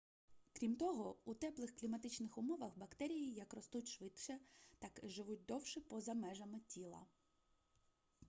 крім того у теплих кліматичних умовах бактерії як ростуть швидше так і живуть довше поза межами тіла